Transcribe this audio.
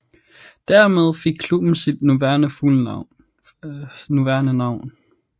Dermed fik klubben sit nuværende navn